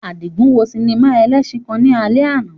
Adigun wo sinima elesin kan ni alẹ ana